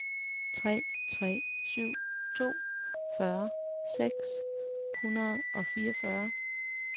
tre tre syv to fyrre seks hundrede og fireogfyrre